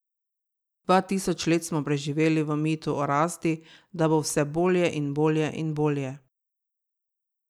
Dva tisoč let smo preživeli v mitu o rasti, da bo vse bolje in bolje in bolje ...